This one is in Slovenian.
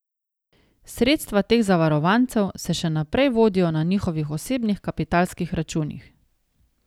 Sredstva teh zavarovancev se še naprej vodijo na njihovih osebnih kapitalskih računih.